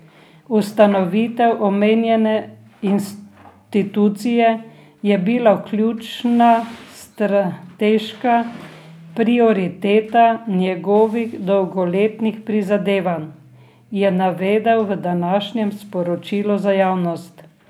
Ustanovitev omenjene institucije je bila ključna strateška prioriteta njegovih dolgoletnih prizadevanj, je navedel v današnjem sporočilu za javnost.